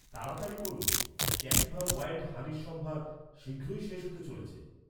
তাড়াতাড়ি করুন, ক্যাপিভা ওয়াইল্ড হানির সম্ভার, শীঘ্রই শেষ হতে চলেছে